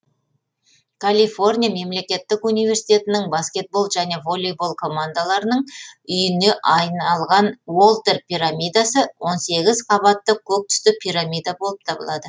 калифорния мемлекеттік университетінің баскетбол және волейбол командаларының үйіне айналған уолтер пирамидасы он сегіз қабатты көк түсті пирамида болып табылады